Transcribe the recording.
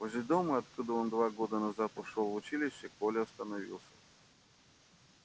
возле дома откуда он два года назад ушёл в училище коля остановился